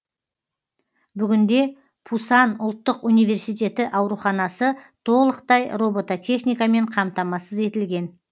бүгінде пусан ұлттық университеті ауруханасы толықтай робототехникамен қамтамасыз етілген